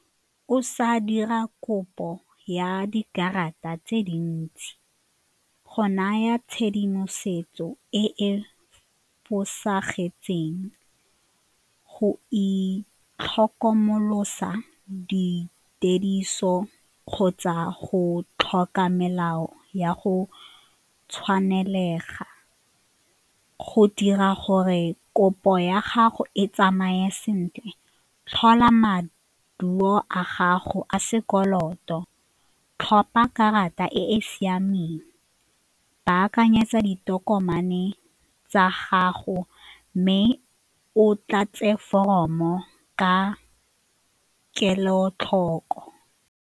O sa dira kopo ya dikarata tse dintsi go naya tshedimosetso e e fosagetseng, go itlhokomolosa dituediso kgotsa go tlhoka melao ya go tshwanelega, go dira gore kopo ya gago e tsamaye sentle tlhola maduo a gago a sekoloto to tlhopa karata e e siameng, baakanyetsa ditokomane tsa gago mme o tlatse foromo ka kelotlhoko.